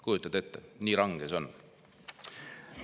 Kujutate ette, nii range see on.